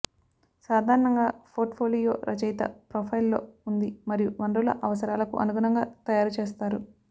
సాధారణంగా పోర్ట్ఫోలియో రచయిత ప్రొఫైల్ లో ఉంది మరియు వనరుల అవసరాలకు అనుగుణంగా తయారు చేస్తారు